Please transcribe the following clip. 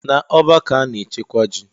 Na ọ́bà ka ana-echekwa ji.